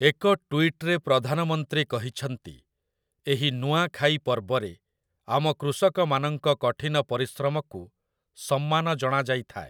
ଏକ ଟ୍ଵିଟ୍‌ରେ ପ୍ରଧାନମନ୍ତ୍ରୀ କହିଛନ୍ତି, ଏହି ନୂଆଁଖାଇ ପର୍ବରେ ଆମ କୃଷକମାନଙ୍କ କଠିନ ପରିଶ୍ରମକୁ ସମ୍ମାନ ଜଣାଯାଇଥାଏ ।